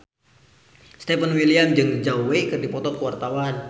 Stefan William jeung Zhao Wei keur dipoto ku wartawan